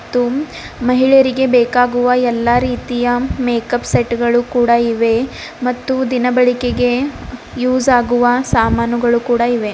ಮತ್ತು ಮಹಿಳೆಯರಿಗೆ ಬೇಕಾಗುವ ಎಲ್ಲಾ ರೀತಿಯ ಮೇಕಪ್ ಸೆಟ್ಗಳು ಕೂಡ ಇವೆ ಮತ್ತು ದಿನಬಳಿಕೆಗೆ ಯೂಸ್ ಆಗುವ ಸಾಮಾನುಗಳು ಕೂಡ ಇವೆ.